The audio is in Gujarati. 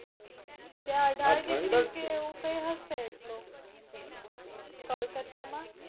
ત્યાં અઢાર degree જેવું કય હશે એટલું કોલકાતા માં